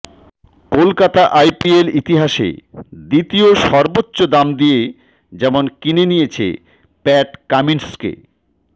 Kolkata IPL ইতিহাসে দ্বিতীয় সর্বোচ্চ দাম দিয়ে যেমন কিনে নিয়েছে প্যাট কামিন্সকে